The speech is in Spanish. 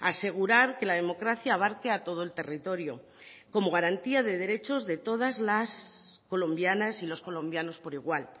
asegurar que la democracia abarque a todo el territorio como garantía de derechos de todas las colombianas y los colombianos por igual